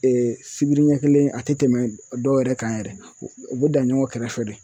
sibiri ɲɛ kelen a tɛ tɛmɛ dɔw yɛrɛ kan yɛrɛ u bɛ dan ɲɔgɔn kɛrɛfɛ de